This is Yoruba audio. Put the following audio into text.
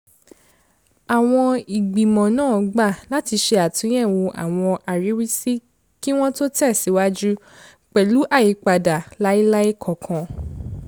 àwọn ìgbìmọ̀ náà gbà láti ṣe àtúnyẹ̀wò àwọn àríwísí kí wọ́n tó tẹ̀síwaju pẹ̀lú àyípadà lailai kankan